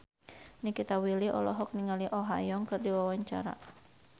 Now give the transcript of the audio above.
Nikita Willy olohok ningali Oh Ha Young keur diwawancara